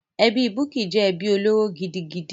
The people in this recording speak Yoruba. Ẹbí Bukky jẹ́ ẹbí olóró gidigidi.